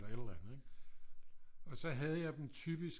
Et eller andet ikke og så havde jeg dem typisk